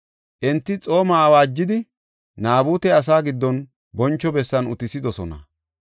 Enti xooma awaajidi, Naabute asaa giddon boncho bessan utisidosona.